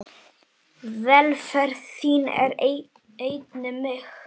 Velferð þín er einnig mín.